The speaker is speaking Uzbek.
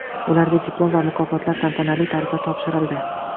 Ularga diplom va mukofotlar tantanali tarzda topshirildi.